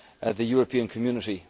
the European Community.